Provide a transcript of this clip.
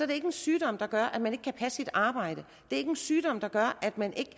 det ikke en sygdom der gør at man ikke kan passe et arbejde og ikke en sygdom der gør at man ikke